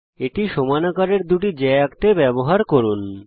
এটি সমান আকারের দুটি জ্যা আঁকতে ব্যবহার করুন